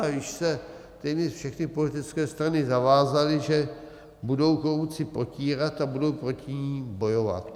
A již se téměř všechny politické strany zavázaly, že budou korupci potírat a budou proti ní bojovat.